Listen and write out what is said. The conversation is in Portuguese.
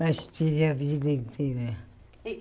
Mas tive a vida que tive.